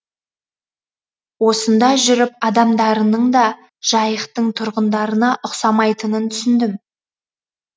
осында жүріп адамдарының да жайықтың тұрғындарына ұқсамайтынын түсіндім